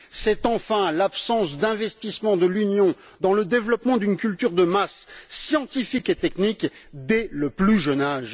C'est enfin l'absence d'investissements de l'Union dans le développement d'une culture scientifique et technique de masse dès le plus jeune âge.